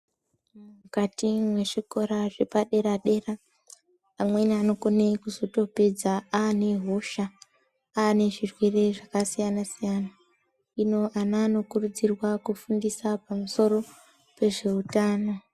Mukati mezvikora zvepadera dera, amweni anokone kuzotopedza anehosha, anezvirwere zvakasiyana siyana. Ino, ana anokurudzirwa kufundisa pamsoro pezvehutano.